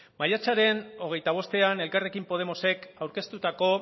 maiatzaren hogeita bostean elkarrekin podemosek aurkeztutako